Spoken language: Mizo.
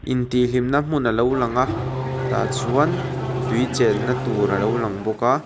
in tih hlimna hmun a lo lang a tah chuan tui chenna hmun tur a lo lang bawk a.